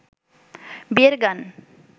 বিয়ের গান